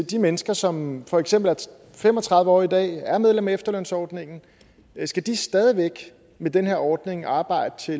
de mennesker som for eksempel er fem og tredive år i dag og er medlem af efterlønsordningen skal de stadig væk med den her ordning arbejde til